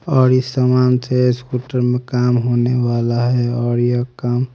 और इस सामान से स्कूटर में काम होने वाला है और यह काम--